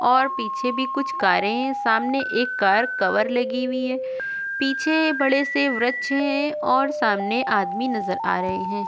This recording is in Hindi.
और पीछे भी कुछ कारें हैं सामने एक कार कवर लगी हुई है पीछे बड़े से वृक्ष हैं और सामने आदमी नजर आ रहे हैं।